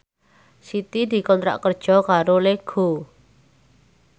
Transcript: Siti dikontrak kerja karo Lego